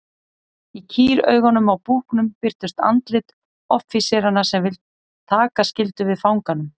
Í kýraugunum á búknum birtust andlit offíseranna sem taka skyldu við fanganum.